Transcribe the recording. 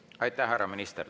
Aitäh, härra minister!